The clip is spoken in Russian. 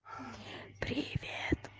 привет